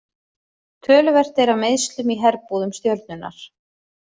Töluvert er af meiðslum í herbúðum Stjörnunnar.